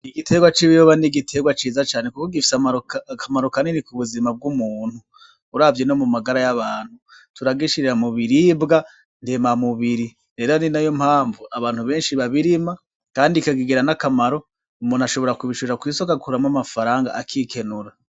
Igiterwa c'ibiyoba ni igiterwa ciza cane kuko gifise akamaro kanini ku buzima bw'umuntu, uravye no mu magara y'abantu. Turagishira mu biribwa ndemamubiri. Rero ari nayo mpamvu abantu benshi babirima, kandi bikagira n'akamaro. Umuntu ashobora kubishora kw'isoko akikenura.